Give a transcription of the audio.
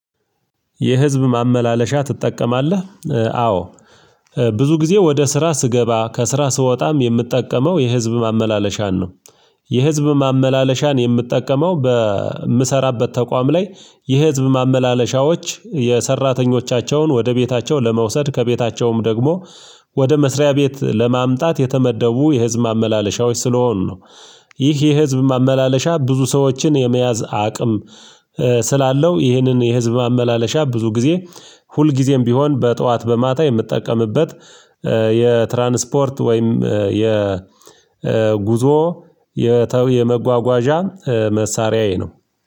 የህዝብ ማመላለሻ ትጠቀማለህ? አዎ ብዙ ጊዜ ወደ ስራ ስገባ ከስራ ስወጣም የምጠቀመው የህዝብ ማመላለሻን ነው። የህዝብ ማመላለሻን የምጠቀመው በምሰራበት ተቋም ላይ የህዝብ ማመላለሻዎች የሰራተኞቻቸውን ወደ ቤታቸው ለመውሰድ ከቤታቸውም ደግሞ ወደ መስሪያ ቤት ለማምጣት የተመደቡ የህዝብ ማመለሻዎች ስለሆኑ ነው። ይህ የህዝብ ማመላለሻ ብዙ ሰዎችን የመያዝ አቅም ስላለው ይህንን የህዝብ ማመላለሻ ብዙ ጊዜ ሁልጊዜም ቢሆን በጠዋት በማታ የምጠቀምበት። የትራንስፖርት ወይም የ ጉዞ የተው የመጓጓዣ መሳሪያዬ ነው።